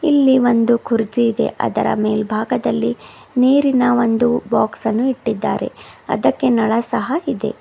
ಇಲ್ಲಿ ಒಂದು ಕುರ್ಚಿ ಇದೆ ಅದರ ಮೇಲ್ಭಾಗದಲ್ಲಿ ನೀರಿನ ಒಂದು ಬಾಕ್ಸ್ ಅನ್ನು ಇಟ್ಟಿದ್ದಾರೆ ಅದಕ್ಕೆ ನಳ ಸಹ ಇದೆ.